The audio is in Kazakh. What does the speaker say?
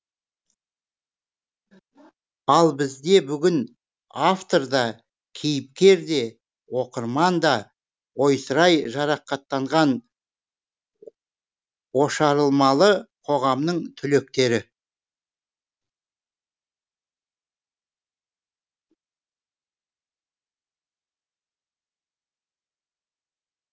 ал бізде бүгін автор да кейіпкер де оқырман да ойсырай жарақаттанған ошарылмалы қоғамның түлектері